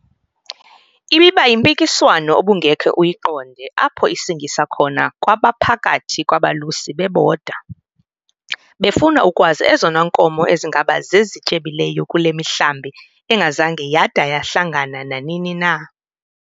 Ibiba yimpikiswano obungeke uyiqonde apho isingisa khona kwaphakathi kwabalusi bebodwa, befuna ukwazi ezona nkomo ezingaba zezityebileyo kule mihlambi engazange yada yahlangana nanini na.